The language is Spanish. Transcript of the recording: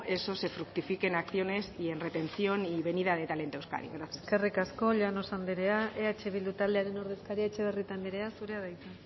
eso se fructifique en acciones y en retención y en venida de talento a euskadi gracias eskerrik asko llanos anderea eh bildu taldearen ordezkaria etxebarrieta andrea zurea da hitza